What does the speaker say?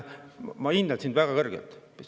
Ma hindan sind väga kõrgelt.